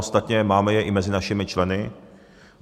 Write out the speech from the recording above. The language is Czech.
Ostatně máme je i mezi našimi členy.